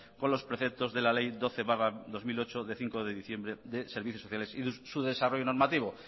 con los preceptos de la ley doce barra dos mil ocho de cinco de diciembre de servicios sociales y su desarrollo normativo